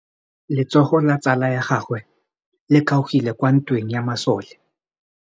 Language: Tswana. Letsôgô la tsala ya gagwe le kgaogile kwa ntweng ya masole.